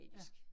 Ja